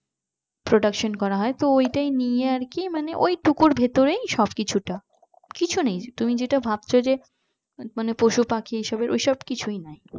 production করা হয় তো ওটাই নিয়ে আর কি মানে ওইটুকুর ভেতরেই সব কিছুটা কিছু নেই তুমি যেটা ভাবছো যে পশুপাখি এসবের ওইসব কিছুই নাই